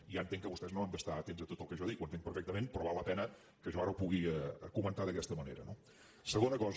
ja entenc que vostès no han d’estar atents a tot el que jo dic ho entenc perfectament però val la pena que jo ara ho pugui comentar d’aquesta manera no segona cosa